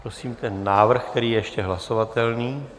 Prosím ten návrh, který je ještě hlasovatelný.